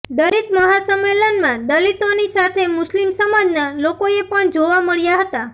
દલિત મહાસંમેલનમાં દલિતોની સાથે મુસ્લિમ સમાજના લોકોએ પણ જોવા મળ્યા હતા